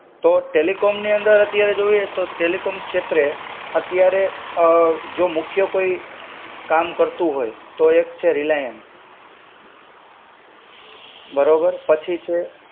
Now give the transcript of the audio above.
તો ટેલિકોમની અંદર અત્યારે જોઈએ તો ટેલિકોમ ક્ષેત્રે અત્યારે જો મુખ્ય કોઈ, કામ કરતું હોય, તો એક છે રિલાયન્સ. બરોબર પછી છે